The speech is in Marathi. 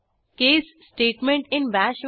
case statement in bash